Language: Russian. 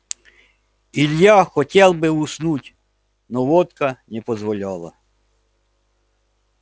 илья хотел бы уснуть но водка не позволяла